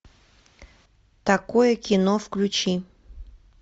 такое кино включи